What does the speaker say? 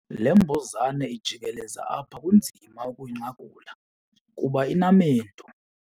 Le mbuzane ijikeleza apha kunzima ukuyinqakula kuba inamendu.